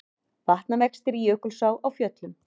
Vatnavextir í Jökulsá á Fjöllum